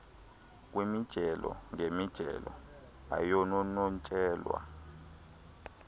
kwimijelo ngemijelo ayanonotshelwa